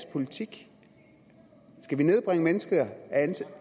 politik skal vi nedbringe